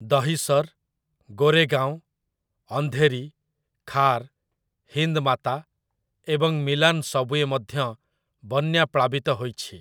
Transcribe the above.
ଦହିସର୍, ଗୋରେଗାଓଁ, ଅନ୍ଧେରି, ଖାର୍, ହିନ୍ଦ୍ ମାତା ଏବଂ ମିଲାନ୍ ସବ୍‌ଓ୍ୱେ ମଧ୍ୟ ବନ୍ୟା ପ୍ଳାବିତ ହୋଇଛି ।